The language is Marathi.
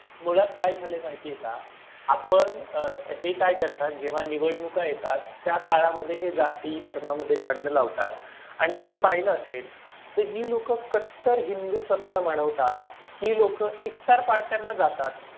मुळात काय झाले माहित आहे का? आपण आह हे काय करतात. जेव्हा निवडणुका येतात. त्या काळा मध्ये जाती धर्मामध्ये भांडण लावतात आणि तुम्ही पाहिलं असेल कि जी लोकं कट्टर हिंदू स्वतःला म्हणवतात ती लोक इफ्तार पार्टीला जातात.